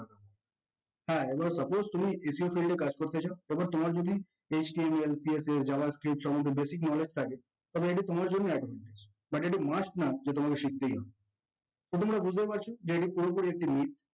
হে suppose তুমি SEOfield এ কাজ করতে চাও তারপর তোমার যদি HTMLCSSJAVAscript সম্বন্দে basic knowledge থাকে তাহলে এটা তোমার জন্য advantage but এটা must না যে তোমাকে শিখতেই হবে তো তোমরা বুজতেই পারছো